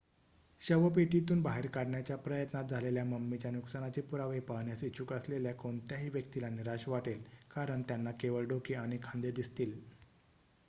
शवपेटीतून बाहेर काढण्याच्या प्रयत्नात झालेल्या मम्मीच्या नुकसानाचे पुरावे पाहण्यास इच्छुक असलेल्या कोणत्याही व्यक्तीला निराश वाटेल कारण त्यांना केवळ डोके आणि खांदे दिसतील